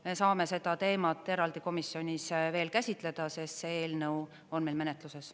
Me saame seda teemat eraldi komisjonis veel käsitleda, sest see eelnõu on meil menetluses.